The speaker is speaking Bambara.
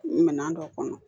Minɛn dɔ kɔnɔ